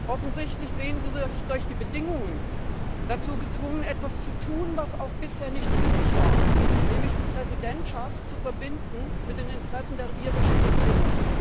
Offensichtlich sehen Sie sich durch die Bedingungen dazu gezwungen, etwas zu tun, was auch bisher nicht üblich war, nämlich die Präsidentschaft zu verbinden mit den Interessen der irischen Regierung.